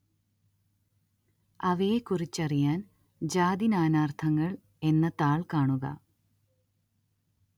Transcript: അവയെക്കുറിച്ചറിയാന്‍ ജാതി നാനാര്‍ത്ഥങ്ങള്‍ എന്ന താള്‍ കാണുക